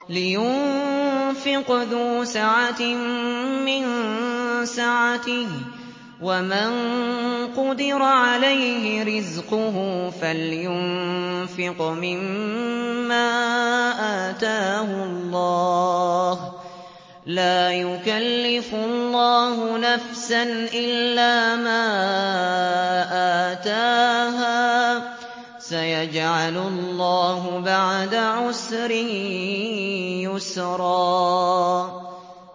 لِيُنفِقْ ذُو سَعَةٍ مِّن سَعَتِهِ ۖ وَمَن قُدِرَ عَلَيْهِ رِزْقُهُ فَلْيُنفِقْ مِمَّا آتَاهُ اللَّهُ ۚ لَا يُكَلِّفُ اللَّهُ نَفْسًا إِلَّا مَا آتَاهَا ۚ سَيَجْعَلُ اللَّهُ بَعْدَ عُسْرٍ يُسْرًا